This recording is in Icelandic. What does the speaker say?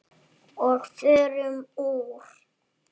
Og förum úr.